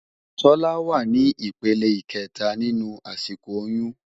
Tola wá ni ipélé ikètá ninú àsikó óyùn